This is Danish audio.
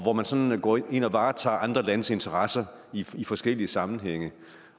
når man sådan går ind og varetager andre landes interesser i forskellige sammenhænge